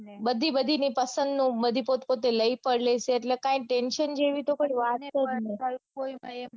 બધી બધીની પસંદ નું બધી પોત પોતે લૈ પણ લેશે એટલે કાંઈ ટેન્શન જેવી તો કોઈ વાત જ નઈ